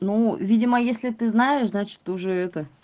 ну видимо если ты знаешь значит уже это